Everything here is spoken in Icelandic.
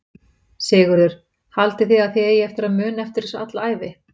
Sigurður: Haldið þið að þið eigið eftir að muna eftir þessu alla ævi?